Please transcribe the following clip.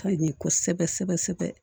Ka ɲi kosɛbɛ sɛbɛ sɛbɛ